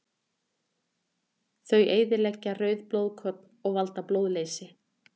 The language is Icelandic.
Þau eyðileggja rauð blóðkorn og valda blóðleysi.